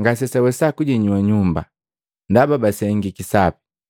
ngasesawesa kujinyua nyumba, ndaba basengiki sapi.